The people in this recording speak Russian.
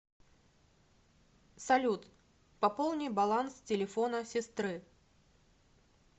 салют пополни баланс телефона сестры